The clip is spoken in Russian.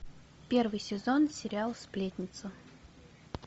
первый сезон сериал сплетница